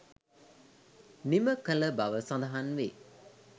නිම කළබව සඳහන් වේ.